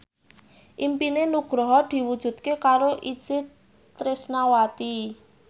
impine Nugroho diwujudke karo Itje Tresnawati